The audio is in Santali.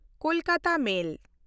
ᱠᱳᱞᱠᱟᱛᱟ ᱢᱮᱞ